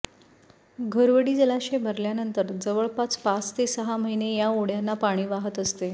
घोरवडी जलाशय भरल्यानंतर जवळपास पाच ते सहा महिने या ओढ्यांना पाणी वाहत असते